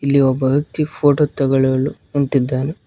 ಇಲ್ಲಿ ಒಬ್ಬ ವ್ಯಕ್ತಿ ಫೋಟೋ ತೊಗೊಳಲು ನಿಂತಿದ್ದಾನೆ.